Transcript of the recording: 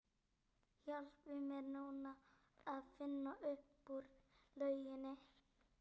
Hvaða lið fara upp?